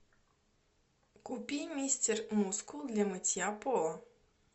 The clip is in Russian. купи мистер мускул для мытья пола